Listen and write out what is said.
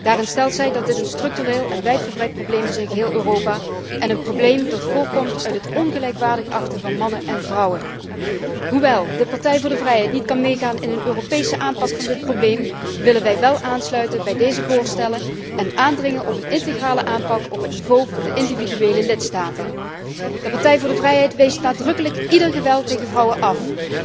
Daarin stelt zij dat dit een structureel en wijd verbreid probleem in geheel Europa is, dat voorkomt uit het ongelijkwaardig achten van mannen en vrouwen. Hoewel de Partij voor de Vrijheid niet kan meegaan in een Europese aanpak van dit probleem, willen wij ons wel aansluiten bij deze voorstellen en aandringen op een integrale aanpak op het niveau van de individuele lidstaten. De Partij voor de Vrijheid wijst nadrukkelijk ieder geweld tegen vrouwen af.